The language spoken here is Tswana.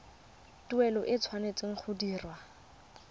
tuelo e tshwanetse go dirwa